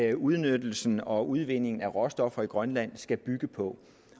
det udnyttelsen og udvindingen af råstoffer i grønland skal bygge på